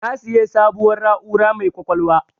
Na siya sabuwar na'ura mai ƙwaƙwalwa